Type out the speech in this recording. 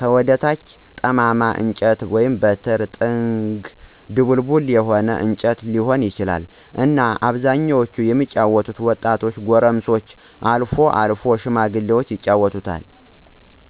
ከወደ ታች ጠማማ እንጨት(በትር)፣ጥንግ(ድቡልቡል የሆነ እንጨት ሊሆን ይችላል)እና በአብዛኛው የሚጫወቱት ወጣቶች፣ ጎረምሶችና አልፎ አልፎም ሽማግሎች ይጫወታሉ።